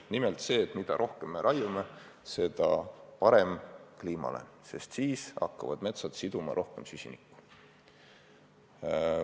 Nimelt väidetakse, et mida rohkem me raiume, seda parem kliimale, sest siis hakkavad metsad süsinikku rohkem siduma.